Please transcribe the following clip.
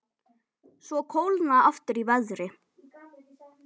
Svo kólnaði aftur í veðri.